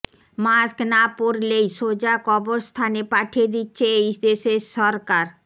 mask না পড়লেই সোজা কবরস্থানে পাঠিয়ে দিচ্ছে এই দেশের সরকার